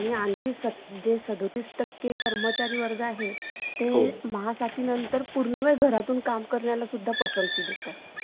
Okay ठीक आहे mam चालेल.